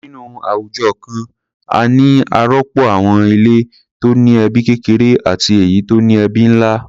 Nínú àwùjọ kan, a ní àròpọ̀ àwọn ilé tó ní ẹbí kékeré àti èyí tó ní ẹbí ńlá.